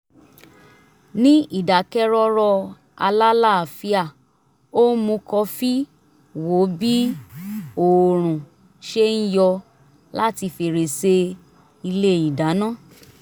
ní ìdákẹ́rọ́rọ́ alálàáfíà ó ń mu kọfí wo bí oòrùn ṣe ń yọ láti fèrèsé ilé ìdáná